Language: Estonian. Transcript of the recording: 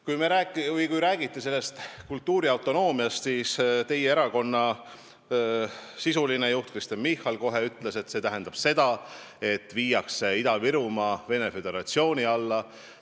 Kui räägiti kultuuriautonoomiast, siis ütles teie erakonna sisuline juht Kristen Michal kohe, et see tähendab seda, et Ida-Virumaa viiakse Venemaa Föderatsiooni alla.